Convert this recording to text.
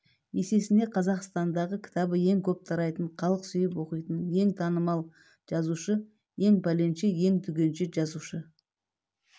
есесіне қазақстандағы кітабы ең көп тарайтын халық сүйіп оқитын ең танымал жазушы ең пәленше ең түгенше жазушы